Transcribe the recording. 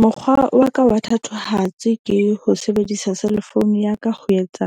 Mokgwa wa ka wa thatohatsi ke ho sebedisa cell phone ya ka ho etsa